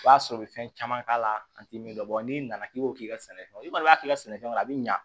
O b'a sɔrɔ u bɛ fɛn caman k'a la a tɛ min dɔn n'i nana k'i b'o k'i ka sɛnɛfɛn na i kɔni b'a k'i ka sɛnɛfɛn kɔnɔ a bɛ ɲɛ